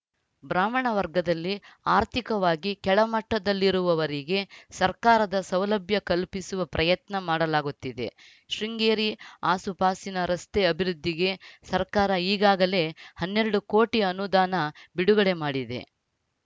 ಬ್ರಾಹ್ಮಣ ವರ್ಗದಲ್ಲಿ ಆರ್ಥಿಕವಾಗಿ ಕೆಳಮಟ್ಟದಲ್ಲಿರುವವರಿಗೆ ಸರ್ಕಾರದ ಸೌಲಭ್ಯ ಕಲ್ಪಿಸಿವ ಪ್ರಯತ್ನ ಮಾಡಲಾಗುತ್ತಿದೆ ಶೃಂಗೇರಿ ಆಸುಪಾಸಿನ ರಸ್ತೆ ಅಭಿವೃದ್ಧಿಗೆ ಸರ್ಕಾರ ಈಗಾಗಲೇ ಹನ್ನೆರಡು ಕೋಟಿ ಅನುದಾನ ಬಿಡುಗಡೆ ಮಾಡಿದೆ